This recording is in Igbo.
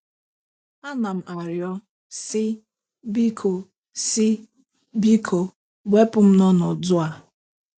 Anam arịọ, sị, “Biko, sị, “Biko, wepụ m n’ọnọdụ a .”